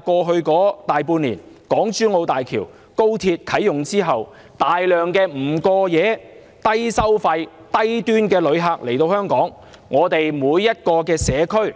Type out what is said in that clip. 過去大半年，港珠澳大橋和高鐵啟用後，大量不過夜、低消費、低端旅客來港，每個社區